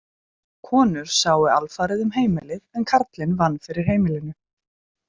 Konur sáu alfarið um heimilið en karlinn vann fyrir heimilinu.